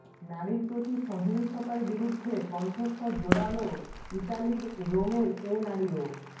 নারীর প্রতি সহিংসতার বিরুদ্ধে কণ্ঠস্বর জোরালো ইতালির রোমের এ নারীও